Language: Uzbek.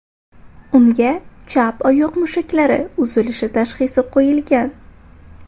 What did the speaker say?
Unga chap oyoq mushaklari uzilishi tashxisi qo‘yilgan.